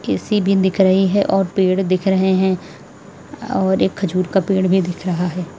AC भी दिख रही है और पेड़ दिख रहे हैं और एक खजूर का पेड़ भी दिख रहा है।